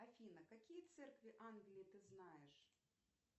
афина какие церкви англии ты знаешь